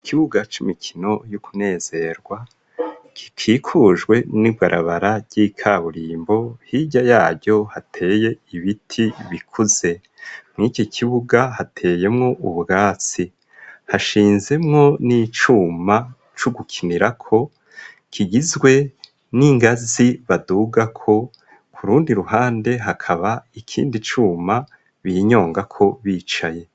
Ikibuga c'imikino y'ukunezerwa kikikujwe n'ibarabara ry'ikaburimbo hirya yaho hateye ibiti bikuze mw’iki kibuga hateyemo ubwatsi hashinzemwo n'icuma c'ugukinirako kigizwe n'ingazi badugako ku rundi ruhande hakaba ikindi cuma binyongako bicaye.